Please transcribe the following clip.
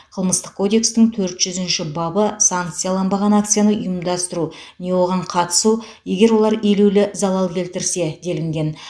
қылмыстық кодекстің төрт жүзінші бабы санкцияланбаған акцияны ұйымдастыру не оған қатысу егер олар елеулі залал келтірсе делінген